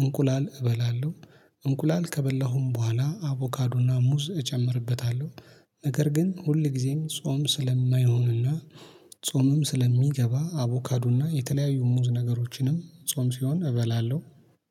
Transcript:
እንቁላል እበላለሁ። እንቁላል ከበላሁም በኋላ አቮካዱና ሙዝ እጨምርበታለሁ። ነገር ግን ሁልጊዜም ጾም ስለማይሆንና ጾምም ስለሚገባ አቮካዱና የተለያዩ ሙዝ ነገሮችንም ጾም ሲሆን እበላለሁ።